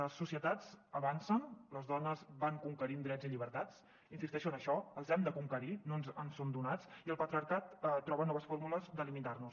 les societats avancen les dones van conquerint drets i llibertats insisteixo en això els hem de conquerir no ens són donats i el patriarcat troba noves fórmules de limitar nos